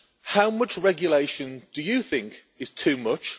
How much regulation do you think is too much?